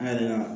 An yɛrɛ ka